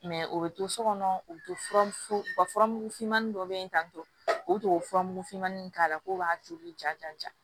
o bɛ to so kɔnɔ u bɛ to furamuso ka furamugu fimanin dɔ bɛ yen tan tɔ o tubabu fura mugu fimanni k'a la k'o b'a toli ja ja